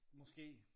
Måske